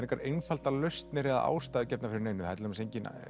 engar einfaldar lausnir eða ástæður gefnar fyrir neinu það er til dæmis engin